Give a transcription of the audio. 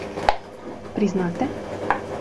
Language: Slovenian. Priznate?